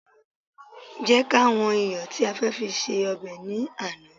jẹ ká wan iyọ ti a fe fi se obe ni Ana